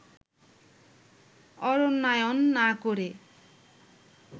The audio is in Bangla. অরণ্যায়ন না করে